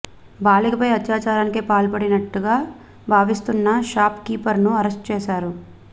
బాలికపై అత్యాచారానికి పాల్పడినట్టుగా భావిస్తున్న షాప్ కీపర్ ను అరెస్ట్ చేశారు